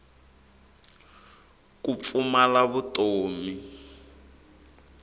ku pfumala vutomi